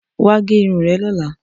Wà á gẹ irun rẹ lọ́la!